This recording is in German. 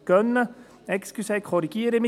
Entschuldigen Sie, ich korrigiere mich: